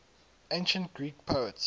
ancient greek poets